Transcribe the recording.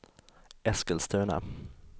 Eskilstuna